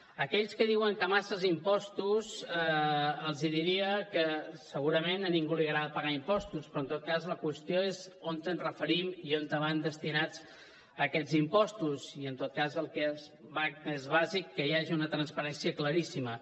a aquells que diuen que masses impostos els diria que segurament a ningú li agrada pagar impostos però en tot cas la qüestió és on ens referim i on van destinats aquests impostos i en tot cas el que és bàsic que hi hagi una transparència claríssima